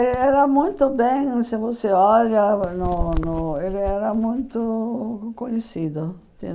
Ele era muito bem... Se você olha no no, ele era muito conhecido.